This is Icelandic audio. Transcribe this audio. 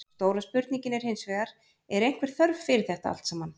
Stóra spurningin er hinsvegar, er einhver þörf fyrir þetta allt saman?